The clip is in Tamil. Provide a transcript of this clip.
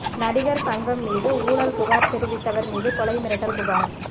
நடிகர் சங்கம் மீது ஊழல் புகார் தெரிவித்தவர் மீது கொலை மிரட்டல் புகார்